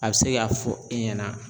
A bɛ se k'a fɔ e ɲɛna